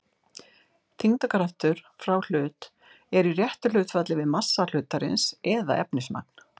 Þyngdarkraftur frá hlut er í réttu hlutfalli við massa hlutarins eða efnismagn.